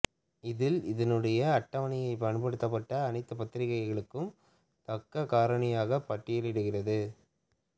இதில் இதனுடைன அட்டவணைப்படுத்தப்பட்ட அனைத்துப் பத்திரிகைகளுக்கும் தாக்கக் காரணியை பட்டியலிடுகிறது